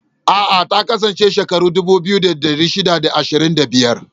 A'a, ta kasance shekaru dubu ɗaya da ɗari shida da ashirin da biyar.